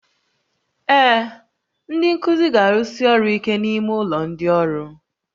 Ee, ndị nkuzi ga-arụsi ọrụ ike n'ime ụlọ ndị ọrụ